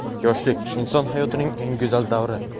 Yoshlik — inson hayotining eng go‘zal davri.